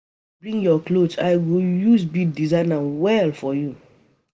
If you bring your cloth I go use bead design am well for you